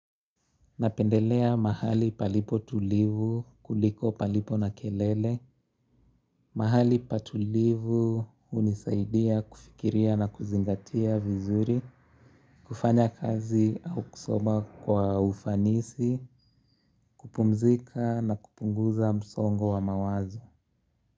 Napendelea mahali palipo tulivu kuliko palipo na kelele, mahali patulivu hunisaidia kufikiria na kuzingatia vizuri, kufanya kazi au kusoma kwa ufanisi, kupumzika na kupunguza msongo wa mawazo.